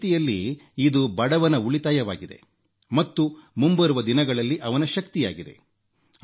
ಒಂದು ರೀತಿಯಲ್ಲಿ ಇದು ಬಡವನ ಉಳಿತಾಯವಾಗಿದೆ ಮತ್ತು ಮುಂಬರುವ ದಿನಗಳಲ್ಲಿ ಅವನ ಶಕ್ತಿಯಾಗಿದೆ